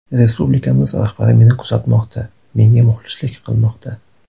Respublikamiz rahbari meni kuzatmoqda, menga muxlislik qilmoqda.